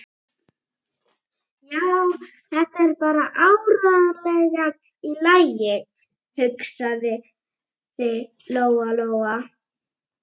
Já, þetta er bara áreiðanlega í lagi, hugsaði Lóa-Lóa.